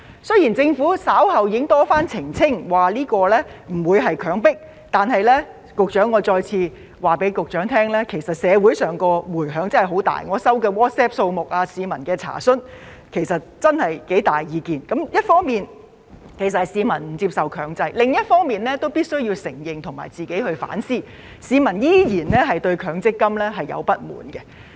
雖然政府稍後已經多番澄清不會強迫，但我想再次告訴局長，其實社會的迴響十分大，我接獲的 WhatsApp 數目和市民查詢，真的有很大意見，一方面是市民不接受強制，另一方面也必須承認和反思，市民依然對強積金抱有不滿。